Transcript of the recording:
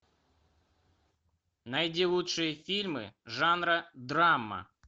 найди лучшие фильмы жанра драма